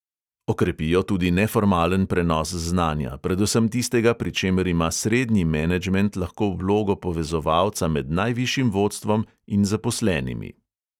Okrepijo tudi neformalen prenos znanja, predvsem tistega, pri čemer ima srednji menedžment lahko vlogo povezovalca med najvišjim vodstvom in zaposlenimi.